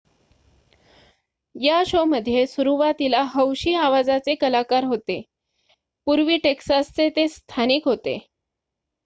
या शोमध्ये सुरुवातीला हौशी आवाजाचे कलाकार होते पूर्व टेक्सासचे ते स्थानिक होते